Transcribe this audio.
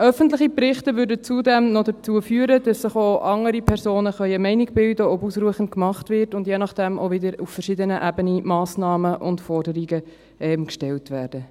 Öffentliche Berichte führten zudem noch dazu, dass sich auch andere Personen eine Meinung bilden können, ob genügend gemacht wird, und je nach dem auch wieder auf verschiedenen Ebenen Massnahmen und Forderungen gestellt werden.